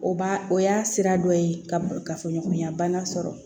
O b'a o y'a sira dɔ ye kafoɲɔgɔnya bana sɔrɔ